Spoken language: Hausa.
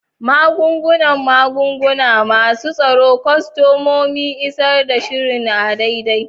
Magungunan magunguna, masu tsaron kwastomomi, isar da sihiri a daidai.